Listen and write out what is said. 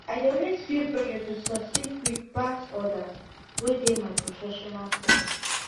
i dey always feel pressure to succeed quick pass others wey dey my professional circle